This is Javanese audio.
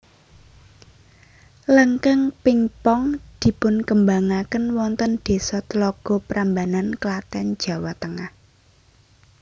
Lengkeng pingpong dipunkembangaken wonten desa Tlogo Prambanan Klaten Jawa Tengah